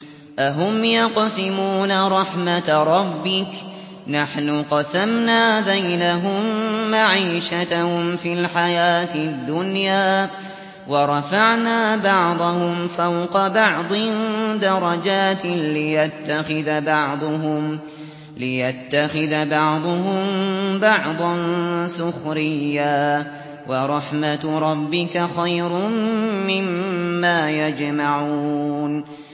أَهُمْ يَقْسِمُونَ رَحْمَتَ رَبِّكَ ۚ نَحْنُ قَسَمْنَا بَيْنَهُم مَّعِيشَتَهُمْ فِي الْحَيَاةِ الدُّنْيَا ۚ وَرَفَعْنَا بَعْضَهُمْ فَوْقَ بَعْضٍ دَرَجَاتٍ لِّيَتَّخِذَ بَعْضُهُم بَعْضًا سُخْرِيًّا ۗ وَرَحْمَتُ رَبِّكَ خَيْرٌ مِّمَّا يَجْمَعُونَ